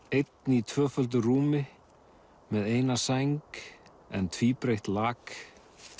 einn í tvöföldu rúmi með eina sæng en tvíbreitt lak